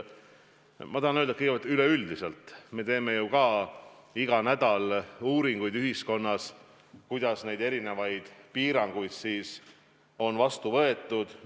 Ma tahan öelda, et üleüldiselt me teeme ju iga nädal uuringuid, kuidas ühiskonnas erinevaid piiranguid on vastu võetud.